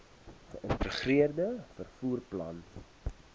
geïntegreerde vervoer plan